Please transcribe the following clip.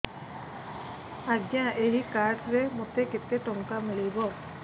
ଆଜ୍ଞା ଏଇ କାର୍ଡ ରେ ମୋତେ କେତେ ଟଙ୍କା ମିଳିବ